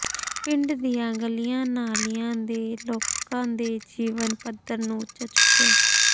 ਪਿੰਡ ਦੀਆਂ ਗਲੀਆਂ ਨਾਲੀਆਂ ਦੇ ਲੋਕਾਂ ਦੇ ਜੀਵਨ ਪੱਧਰ ਨੂੰ ਉੱਚਾ ਚੁੱਕਿਆ